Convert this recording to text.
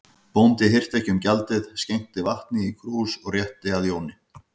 Bóndi hirti ekki um gjaldið, skenkti vatni í krús og rétti að Jóni.